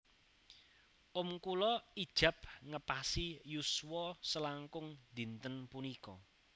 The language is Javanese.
Om kulo ijab ngepasi yuswa selangkung dinten punika